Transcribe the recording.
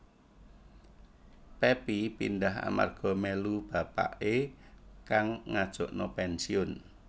Pepi pindah amarga mélu bapaké kang ngajukna pensiun